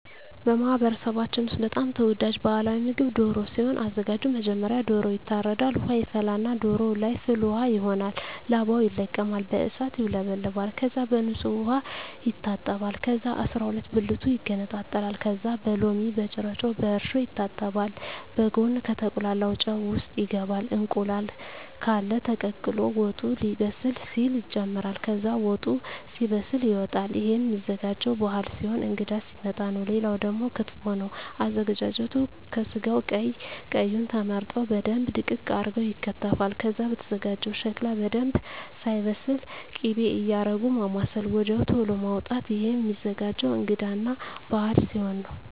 በማህበረሰባችን ውስጥ በጣም ተወዳጅ ባህላዊ ምግብ ደሮ ሲሆን አዘጋጁ መጀመሪያ ዶሮዎ ይታረዳል ውሃ ይፈላና ዶሮዎ ለይ ፍል ውሃው ይሆናል ላባው ይለቀማል በእሳት ይውለበለባል ከዛ በንጹህ ዉሃ ይታጠባል ከዛ አስራሁለት ብልቱ ይገነጣጠላል ከዛ በሎሚ በጭረጮ በእርሾ ይታጠባል በጉን ከተቁላላው ጨው ውሰጥ ይገባል እንቁላል ቃለ ተቀቅሎ ወጡ ሌበስል ሲል ይጨምራል ከዛ ወጡ ሲበስል ይወጣል እሄም ሚዘጋጀው ባህል ሲሆን እንግዳ ሲመጣ ነው ሌላው ደግሞ ክትፎ ነው አዘገጃጀቱ ከስጋው ቀይ ቀዩ ተመርጠው በደንብ ድቅቅ አርገው ይከተፋል ከዛ ከተዘጋጀው ሸክላ በደንብ ሳይበስል ክቤ እያረጉ ማማሰል ወድያው ተሎ ማዉጣት እሄም ሚዘገጀው እንግዳ እና በአል ሲሆን ነው